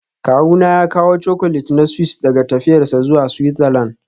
Kawuna ya kawo Chocolate na Swiss daga tafiyarsa zuwa Switzerland